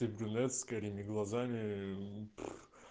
ты брюнет с карими глазами ээ